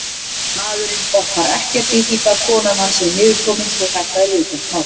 Maðurinn botnar ekkert í því hvar konan hans er niðurkomin svo þetta er viðkvæmt mál.